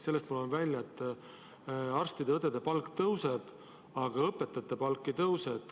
Sellest loen ma välja, et arstide ja õdede palk tõuseb, aga õpetajate palk ei tõuse.